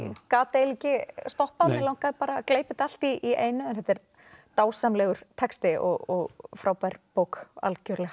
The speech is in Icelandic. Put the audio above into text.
gat eiginlega ekki stoppað mig langaði að gleypa þetta allt í einu en þetta er dásamlegur texti og frábær bók algjörlega